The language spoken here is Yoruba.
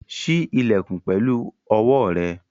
Ṣí ilẹ̀kùn pẹ̀lú owó rẹ̀!